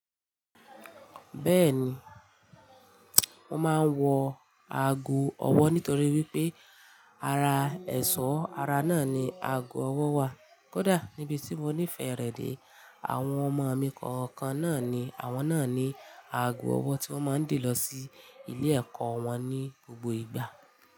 Bẹ́ẹ̀ni, mo máa ń wọ ago ọwọ́ nítorí wípé ara ẹ̀ṣọ́ ara náà ni ago ọwọ́ wà. Kódà níbi tí mo nifẹ rẹ dé, àwọn ọmọ mi kọ̀ọ̀kan náà ni àwọn náà ní ago ọwọ́ tí wọ́n mọ ń de lọ sí ilé ẹ̀kọ́ wọn ní gbogbo ìgbà.